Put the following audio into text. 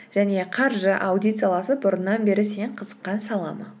және қаржы аудит саласы бұрыннан бері сен қызыққан сала ма